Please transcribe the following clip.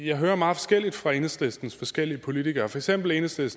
jeg hører meget forskelligt fra enhedslistens forskellige politikere for eksempel sagde